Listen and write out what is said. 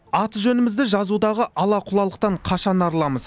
аты жөнімізді жазудағы ала құлалықтан қашан арыламыз